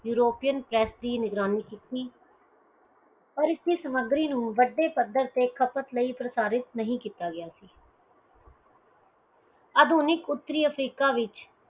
ਯੂਰੋਪੋਇਣ press ਦੀ ਨਿਗਰਾਨੀ ਕੀਤੀ ਓਰ ਇਥੈ ਸਮੱਗਰੀ ਨੂੰ ਵਡੇ ਪੱਤਰ ਤੇ ਖਪਤ ਲਈ ਪ੍ਰਸਾਰਿਤ ਨਹੀਂ ਕੀਤਾ ਗਿਆ ਸੀ ਆਧੁਨਿਕ ਉਤਰੀ ਅਫਰੀਕਾ ਵਿਚ